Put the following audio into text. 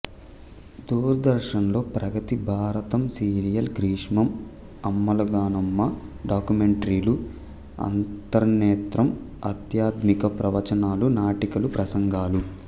దూరదర్శన్లో ప్రగతి భారతం సీరియల్ గ్రీష్మం అమ్మలగన్నుఅమ్మ డాక్యుమెంటరీలు అంతర్నేత్రం ఆధ్యాత్మిక ప్రవచనాలు నాటికలు ప్రసంగాలు